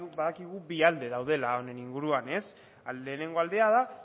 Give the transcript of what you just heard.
badakigu bi alde daudela honen inguruan lehenengo aldea da